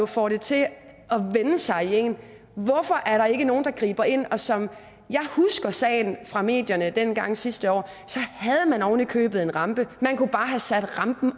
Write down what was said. får det til at vende sig i en hvorfor er der ikke nogen der griber ind som jeg husker sagen fra medierne dengang sidste år havde man ovenikøbet en rampe og man kunne bare have sat rampen